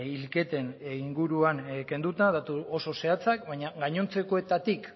hilketen inguruan kenduta datu oso zehatzak baina gainontzekoetatik